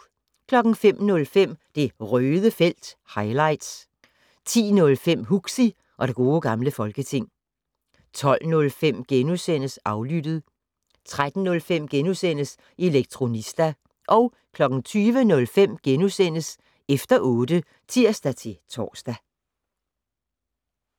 05:05: Det Røde felt - highlights 10:05: Huxi og det gode gamle folketing 12:05: Aflyttet * 13:05: Elektronista * 20:05: Efter otte *(tir-tor)